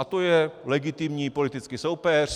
A to je legitimní politický soupeř.